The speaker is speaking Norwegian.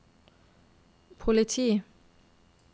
politi